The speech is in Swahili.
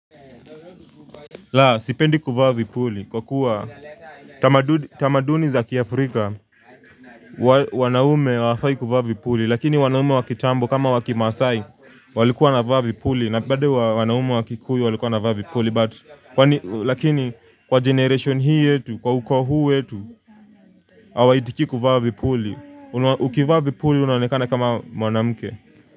La, sipendi kuvaa vipuli, kwa kuwa tamaduni za kiafrika, wanaume hawafai kuvaa vipuli, lakini wanaume wakitambo, kama wakimasai, walikuwa wanavaa vipuli, na bado wanaume wakikuyu walikuwa wanavaa vipuli, but, lakini, kwa generation hii yetu, kwa uko huu yetu, hawa itiki kuvaa vipuli, ukivaa vipuli, unanekana kama mwanamuke.